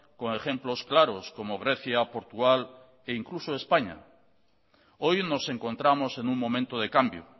con ejemplos claros como grecia portugal e incluso españa hoy nos encontramos en un momento de cambio